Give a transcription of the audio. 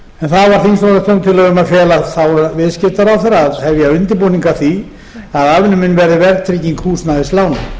það var þingsályktunartillaga um að fela þáv viðskiptaráðherra að hefja undirbúning að því að afnumin yrði verðtrygging húsnæðislána